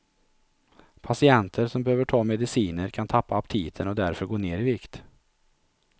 Patienter som behöver ta mediciner kan tappa aptiten och därför gå ner i vikt.